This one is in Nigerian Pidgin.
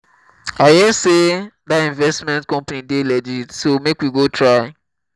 i hear say dat investment company dey legit so make we try go